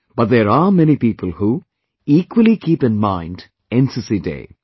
But there are many people who, equally keep in mind NCC Day